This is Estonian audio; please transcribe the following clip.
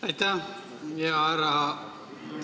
Aitäh!